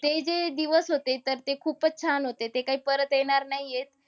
ते जे दिवस होते, तर ते खूपच छान होते. ते काही परत येणार नाहीयेत.